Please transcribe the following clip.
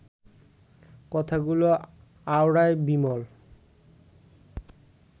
কথাগুলো আওড়ায় বিমল